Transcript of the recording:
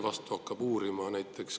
Kes neid hakkab uurima?